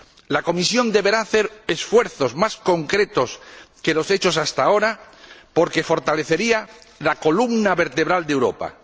La Comisión deberá hacer esfuerzos más concretos que los hechos hasta ahora, porque fortalecería la columna vertebral de Europa.